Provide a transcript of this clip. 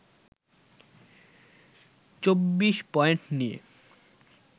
২৪ point নিয়ে